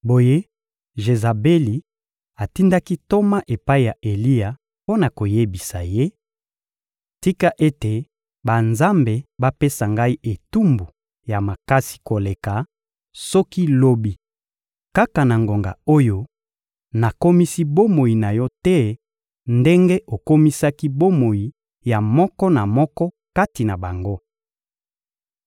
Boye Jezabeli atindaki ntoma epai ya Eliya mpo na koyebisa ye: — Tika ete banzambe bapesa ngai etumbu ya makasi koleka soki lobi, kaka na ngonga oyo, nakomisi bomoi na yo te ndenge okomisaki bomoi ya moko na moko kati na bango.